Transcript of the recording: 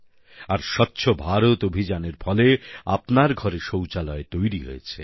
আর স্বচ্ছ ভারত অভিযানের ফলে আপনার ঘরে শৌচালয় তৈরি হয়েছে